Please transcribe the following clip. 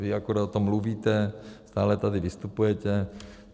Vy akorát o tom mluvíte, stále tady vystupujete.